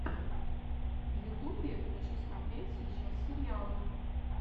в ютубе хочу смотреть сейчас сериалы